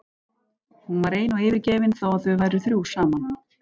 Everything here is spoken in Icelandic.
Hún var ein og yfirgefin þó að þau væru þrjú saman.